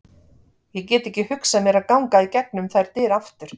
Ég get ekki hugsað mér að ganga í gegnum þær dyr aftur.